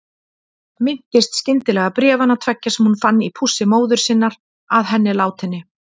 Minnist skyndilega bréfanna tveggja sem hún fann í pússi móður sinnar að henni látinni.